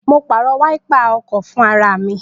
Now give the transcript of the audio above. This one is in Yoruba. Mo pàrọ̀ wáípà ọkọ̀ fún ara mi